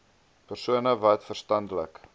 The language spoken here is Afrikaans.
persone wat verstandelik